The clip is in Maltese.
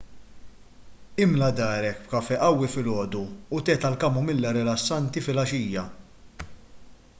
imla darek b'kafè qawwi filgħodu u te tal-kamomilla rilassanti filgħaxija